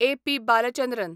ए. P. Balachandran